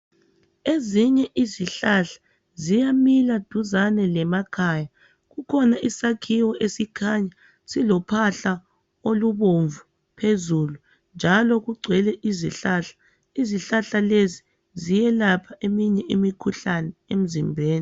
Ezinye izihlahla ziyamila duzane lemakhaya. Kukhona isakhiwo esikhanya silophahla olubomvu phezulu njalo kugcwele izihlahla. Izihlahla lezi ziyelapha eminye imikhuhlane emzimbeni.